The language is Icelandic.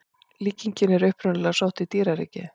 Líkingin er upprunalega sótt í dýraríkið.